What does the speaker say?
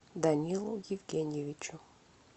данилу евгеньевичу